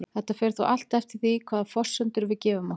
Þetta fer þó allt eftir því hvaða forsendur við gefum okkur.